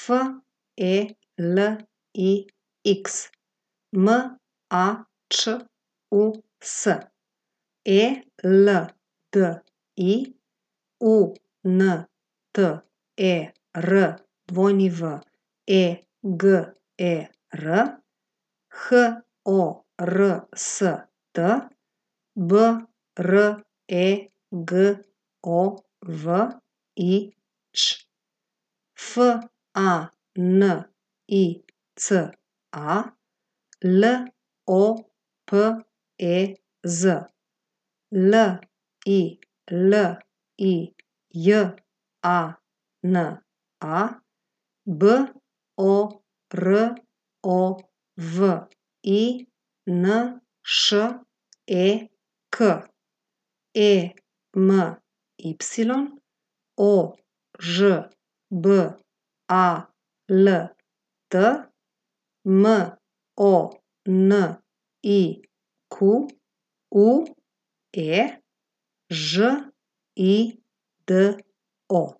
F E L I X, M A Č U S; E L D I, U N T E R W E G E R; H O R S T, B R E G O V I Ć; F A N I C A, L O P E Z; L I L I J A N A, B O R O V I N Š E K; E M Y, O Ž B A L T; M O N I Q U E, Ž I D O.